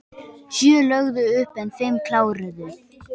Sjö lögðu upp en fimm kláruðu